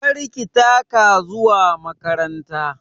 Kar ki taka zuwa makaranta!